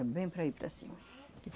É bem para ir para cima.